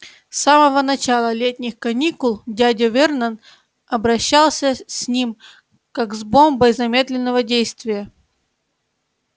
с самого начала летних каникул дядя вернон обращался с ним как с бомбой замедленного действия